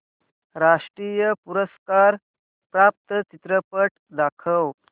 राष्ट्रीय पुरस्कार प्राप्त चित्रपट दाखव